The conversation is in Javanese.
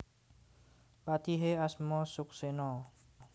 Patihe asma Suksena